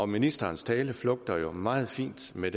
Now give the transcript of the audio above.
ministerens tale flugter jo meget fint med